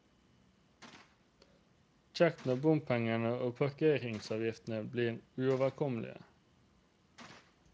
Kjekt når bompengene og parkeringsavgiftene blir uoverkommelige.